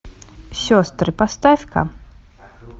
сестры поставь ка